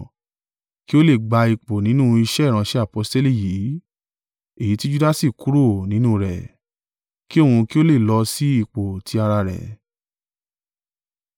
kí ó lè gba ipò nínú iṣẹ́ ìránṣẹ́ aposteli yìí, èyí tí Judasi kúrò nínú rẹ̀, ki òun kí ó lè lọ sí ipò ti ara rẹ̀.”